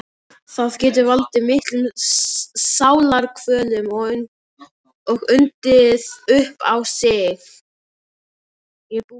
Það getur valdið miklum sálarkvölum og undið upp á sig.